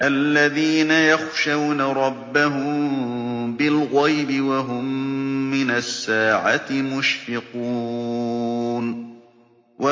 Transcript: الَّذِينَ يَخْشَوْنَ رَبَّهُم بِالْغَيْبِ وَهُم مِّنَ السَّاعَةِ مُشْفِقُونَ